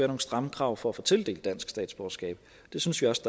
nogle stramme krav for at få tildelt dansk statsborgerskab det synes vi også